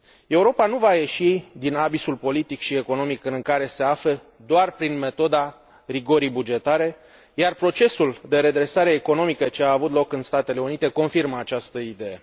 Europa nu va ieși din abisul politic și economic în care se află doar prin metoda rigorii bugetare, iar procesul de redresare economică ce a avut loc în Statele Unite confirmă această idee.